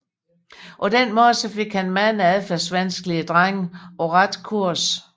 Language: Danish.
På den måde fik han mange adfærdsvanskelige drenge på ret kurs